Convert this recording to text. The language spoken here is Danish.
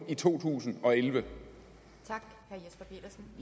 i to tusind og elleve og det